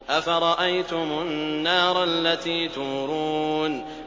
أَفَرَأَيْتُمُ النَّارَ الَّتِي تُورُونَ